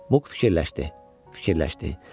Muk fikirləşdi, fikirləşdi.